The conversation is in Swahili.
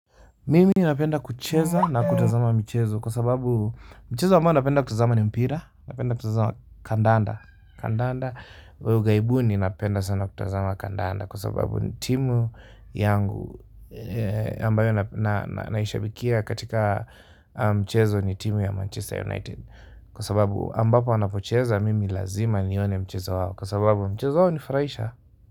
Mimi napenda kucheza na kutazama michezo kwa sababu mchezo ambao napenda kutazama ni mpira napenda kutazama kandanda kandanda wa ughaibuni napenda sana kutazama kandanda kwa sababu timu yangu ambayo naishabikia katika mchezo ni timu ya manchester united kwa sababu ambapo wanapocheza mimi lazima nione mchezo wao kwa sababu mchezo wao hunifurahisha.